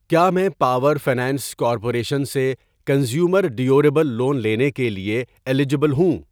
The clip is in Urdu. کیا میں پاور فنانس کارپوریشن سے کنزیومر ڈیوریبل لون لینے کے لیے ایلیجبل ہوں؟